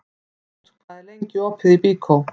Snót, hvað er lengi opið í Byko?